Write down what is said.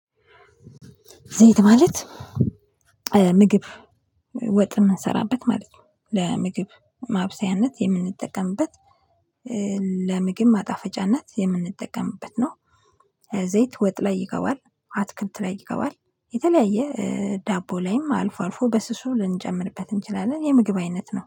ዘይት ማለት ምግብ ወጥ የምንሰራበት ማለት ነው ለምግብ ማብሰያነት የምንጠቀምበት ለምግብ ማጣፈጫነት የምንጠቀምበት ነው። ዘይት ወጥ ላይ ይገባል አትክልት ላይ ይገባል የተለያየ ዳቦ ላይም አልፎ አልፎ በስሱ ልንጨምርበት እንችላለን የምግብ አይነት ነው